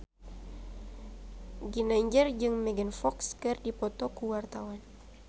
Ginanjar jeung Megan Fox keur dipoto ku wartawan